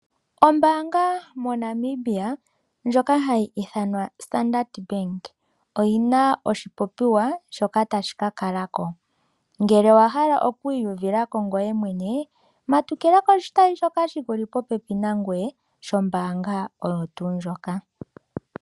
Ombaanga moNamibia ndjoka hayi ithanwa ombaanga yopamuthika oyina oshipopiwa shoka tashi ka kalako. Ngele owahala okwiiyuvilako ngoye mwene matukila koshitayi shoka shikuli popepi nangoye shombaanga oyo tuu ndjoka.